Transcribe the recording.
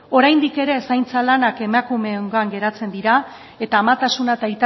oraindik ere zaintza lanak emakumeengan geratzen dira eta amatasuna eta